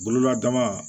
Bololabana